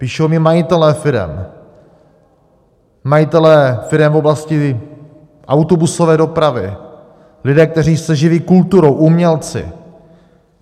Píší mi majitelé firem, majitelé firem v oblasti autobusové dopravy, lidé, kteří se živí kulturou, umělci.